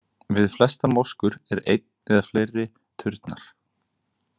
Við flestar moskur er einn eða fleiri turnar.